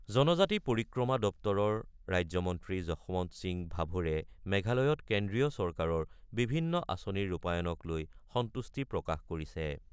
জনজাতি পৰিক্ৰমা দপ্তৰৰ ৰাজ্য মন্ত্ৰী যশৱন্ত সিং ভাভোৰে মেঘালয়ত কেন্দ্ৰীয় চৰকাৰৰ বিভিন্ন আঁচনিৰ ৰূপায়নক লৈ সন্তুষ্টি প্ৰকাশ কৰিছে।